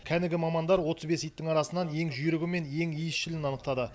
кәнігі мамандар отыз бес иттің арасынан ең жүйрігі мен ең иісшілін анықтады